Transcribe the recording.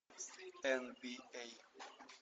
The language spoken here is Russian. эн би эй